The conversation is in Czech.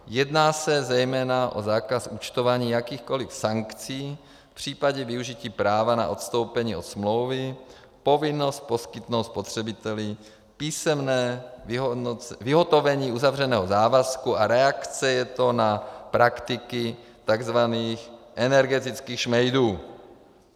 Jedná se zejména o zákaz účtování jakýchkoli sankcí v případě využití práva na odstoupení od smlouvy, povinnost poskytnout spotřebiteli písemné vyhotovení uzavřeného závazku a reakce je to na praktiky tzv. energetických šmejdů.